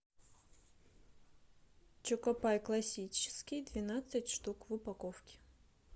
чокопай классический двенадцать штук в упаковке